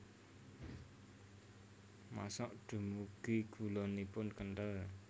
Masak dumugi gulanipun kenthel